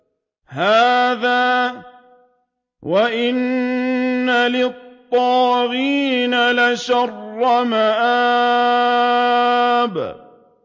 هَٰذَا ۚ وَإِنَّ لِلطَّاغِينَ لَشَرَّ مَآبٍ